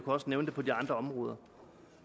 også nævne de andre områder